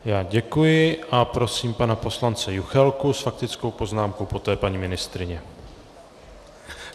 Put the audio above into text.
Já děkuji a prosím pana poslance Juchelku s faktickou poznámkou, poté paní ministryně.